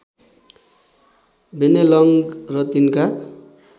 Bennelong र तिनका